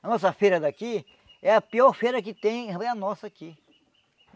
A nossa feira daqui, é a pior feira que tem, é a nossa aqui.